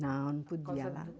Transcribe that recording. Não, não podia lá.